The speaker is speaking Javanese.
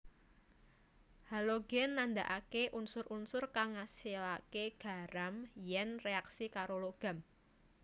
Halogen nandhakaké unsur unsur kang ngasilaké garam yèn reaksi karo logam